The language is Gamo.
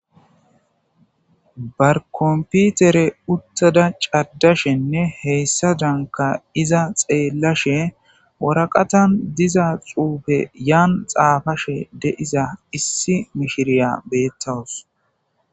Ba kompitere uttada caddashenne hessazankka iza xeellashe waraqatan diza xuufe yani xaafashe de'iza issi mishiriya beettawus.